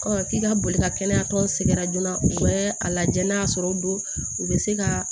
k'i ka boli ka kɛnɛya tɔn sɛgɛrɛ joona u bɛɛ lajɛ n'a sɔrɔ o don u bɛ se ka